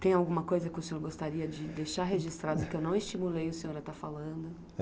Tem alguma coisa que o senhor gostaria de deixar registrada que eu não estimulei o senhor a estar falando?